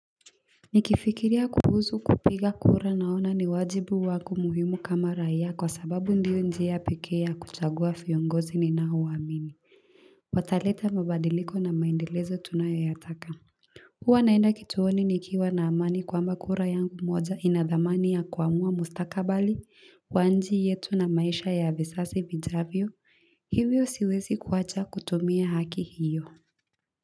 Nikifikiria kuhusu kupiga kura naona ni wajibu wangu muhimu kama raia kwa sababu ndio njia pekee ya kuchagua viongozi ninao wa amini wataleta mabadiliko na maendeleo tunayo yataka hua naenda kituoni nikiwa na amani kwamba kura yangu moja ina dhamani ya kuamua mustakabali wa nchi yetu na maisha ya visasi vijavyo hivyo siwezi kuacha kutumia haki hiyo.